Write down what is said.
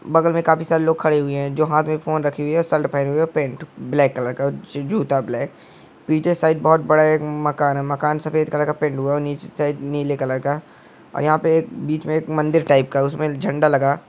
बगल में काफी सारे लोग खड़े हुए हैं जो हाथ में फोन रखे हुए है साल्ट पहने हुए है और पैंट उ ब्लैक कलर का जु जूता ब्लैक पीछे साइड बहुत बड़ा एक मकान है मकान सफेद कलर का पैंट हुआ है और नीचे साइड नीले कलर का और यहां पे एक बीच में एक मंदिर टाइप का उसमे एक झंडा लगा।